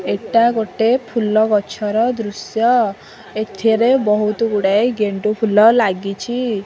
ଏଟା ଗୋଟେ ଫୁଲଗଛର ଦୃଶ୍ୟ ଏଥରେ ବହୁତ ଗୁଡ଼ାଏ ଗେଣ୍ଡୁଫୁଲ ଲାଗିଛି।